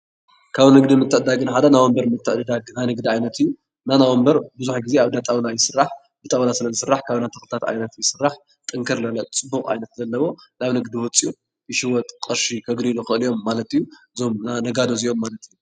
ካብ ንግዲ ምትዕድዳግ ሓደ ናይ ወንበር ምትዕድዳግ ናይ ንግዲ ዓይነት እዩ ናይ ወንበር ብዙሕ ግዜ ኣብ እንዳጣውላ ይስራሕ ብጣውላ ስለ ዝስራሕ ካብ ናይ ተክልታት ዓይነት ይስራሕ ጥንክር ዝበለ ፅቡቕ ዓይነት ኣለዎ ናብ ንግዲ ወፂኡ ይሽወጥ ቕርሺ ከግንይሉ ይኽእሉ ማለት እዩ ዞም ነጋዶ እዚኦም ማለት እዩ ።